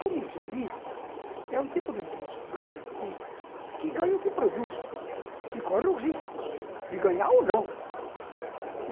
Comissionista é um tipo de funcionário que que ganha o que produz e corre o risco de ganhar ou não.